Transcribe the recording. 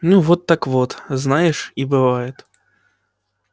ну вот так вот знаешь и бывает